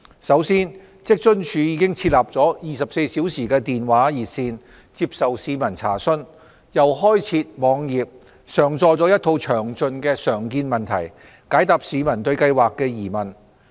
首先，職津處已設立了24小時電話熱線，接受市民查詢，又開設網頁，上載了一套詳盡的常見問題，解答市民對計劃的疑問。